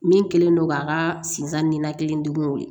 Min kɛlen don k'a ka sinzan ninakili degun weele